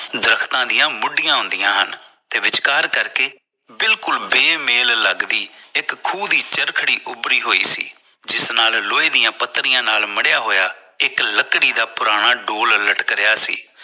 ਦਰੱਖਤਾਂ ਦੀ ਮੁੱਦਿਆਂ ਹੁੰਦੀਆਂ ਹਨ ਤੇ ਵਿੱਚਕਾਰ ਕਰਕੇ ਬਿਲਕੁਲ ਬੇਮੇਲ ਲੱਗਦੀ ਇਕ ਖੂਹ ਦੀ ਚਰਖੜੀ ਉਬਰੀ ਹੋਈ ਸੀ ਜਿਸ ਨਾਲ ਲੋਹੇ ਦੀ ਪੱਤਰੀ ਨਾਲ ਮੜੀਆਂ ਹੋਇਆ ਇਕ ਲੱਕੜੀ ਦਾ ਪੁਰਾਣਾ ਡੋਲ ਲਟਕ ਰਿਹਾ ਸੀ